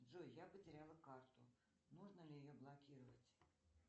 джой я потеряла карту нужно ли ее блокировать